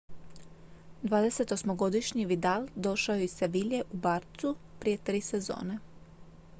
28-godišnji vidal došao je iz seville u barçu prije tri sezone